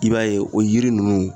I b'a ye o yiri nunnu